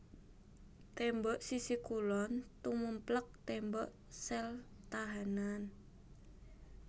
Tembok sisi kulon tumèmplèk tembok sel tahanan